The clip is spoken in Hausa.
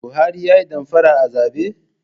Buhari yayi damfara a zabe?